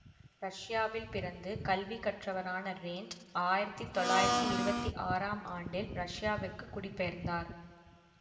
ரஷ்யாவில் பிறந்து கல்வி கற்றவரான ரேண்ட் ஆயிரத்தி தொள்ளாயிரத்தி இருவத்தி ஆறாம் ஆண்டில் ரஷ்யாவிற்கு குடிபெயர்ந்தார்